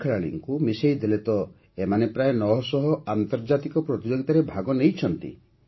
ସମସ୍ତ ଖେଳାଳିଙ୍କୁ ମିଶାଇଦେଲେ ତ ଏମାନେ ପ୍ରାୟ ନଅ ଶହ ଆନ୍ତର୍ଜାତିକ ପ୍ରତିଯୋଗିତାରେ ଭାଗ ନେଇଛନ୍ତି